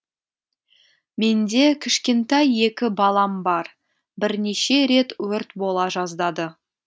менде кішкентай екі балам бар бірнеше рет өрт бола жаздады